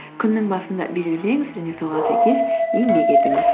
күннің басында белгілеңіз және соған сәйкес еңбек етіңіз